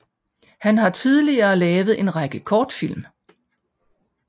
Han har tidligere lavet en række kortfilm